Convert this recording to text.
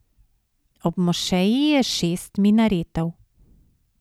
Ob mošeji je šest minaretov.